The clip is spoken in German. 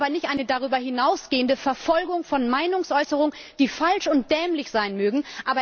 Wir brauchen aber nicht eine darüber hinausgehende Verfolgung von Meinungsäußerungen, die falsch und dämlich sein mögen.